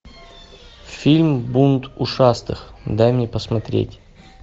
фильм бунт ушастых дай мне посмотреть